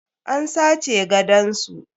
An sace gadon su.